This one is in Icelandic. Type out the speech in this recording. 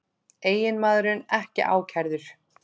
Eiginmaðurinn ekki ákærður